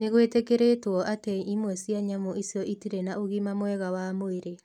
Nĩ gwĩtĩkĩrĩtwo atĩ imwe cia nyamũ icio itirĩ na ũgima mwega wa mwĩrĩ.